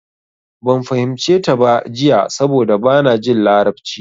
Ban fahimce ta ba jiya saboda bana jin larabci.